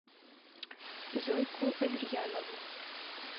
зойку аверьянову